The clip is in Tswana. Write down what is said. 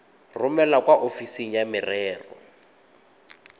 romele kwa ofising ya merero